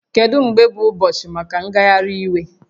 Kedu mgbe bụ ụbọchị maka ngagharị iwe?